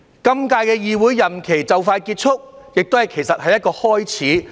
今屆議會任期快將結束，其實亦是一個開始。